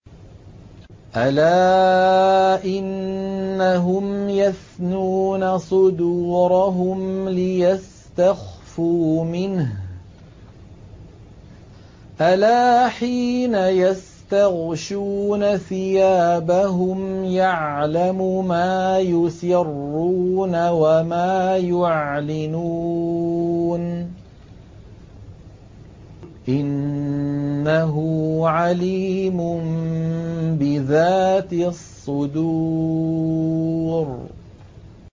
أَلَا إِنَّهُمْ يَثْنُونَ صُدُورَهُمْ لِيَسْتَخْفُوا مِنْهُ ۚ أَلَا حِينَ يَسْتَغْشُونَ ثِيَابَهُمْ يَعْلَمُ مَا يُسِرُّونَ وَمَا يُعْلِنُونَ ۚ إِنَّهُ عَلِيمٌ بِذَاتِ الصُّدُورِ